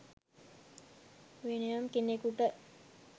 වෙනයම් කෙනෙකුට